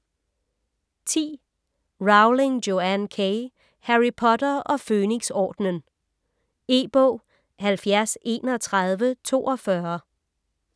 Rowling, Joanne K.: Harry Potter og Fønixordenen E-bog 703142